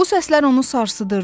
Bu səslər onu sarsıdırdı.